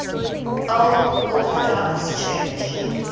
old orthodox church